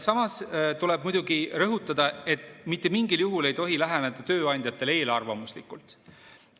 Samas tuleb muidugi rõhutada, et mitte mingil juhul ei tohi läheneda tööandjatele eelarvamuslikult.